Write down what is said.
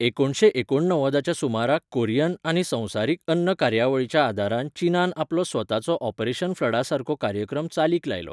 एकुणशे एकूणणव्वदाच्या सुमाराक कॊरियन आनी संवसारीक अन्न कार्यावळीच्या आदारान चीनान आपलो स्वताचो ऑपरेशन फ्लडासारको कार्यक्रम चालीक लायलो.